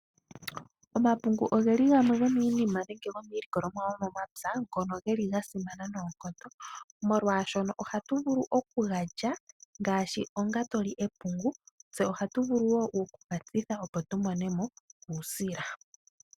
Omapungu ogeli gamwe gomiininima nenge iilikolomwa yomomapya, ngono geli ga simana noonkondo, molwashoka ohatu vulu oku lya ngashi onga to li epungu, go ohatu vulu wo okutsithwa opo omuntu amone mo uusila.